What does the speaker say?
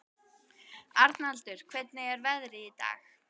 Arnaldur, hvernig er veðrið í dag?